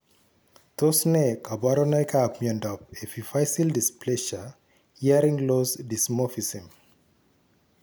Tos ne kaborunoikap miondop Epiphyseal dysplasia hearing loss dysmorphism?